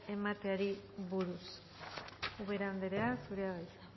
emateari buruz ubera andrea zurea da hitza